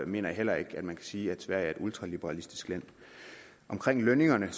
mener jeg heller ikke at man kan sige at sverige er et ultraliberalistisk land omkring lønningerne er